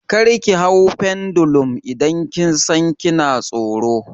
Kar ki hau pendulum idan kin san kina tsoro!